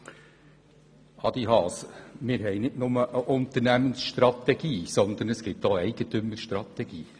Zu Adrian Haas: Wir haben nicht nur eine Unternehmensstrategie, sondern auch eine Eigentümerstrategie.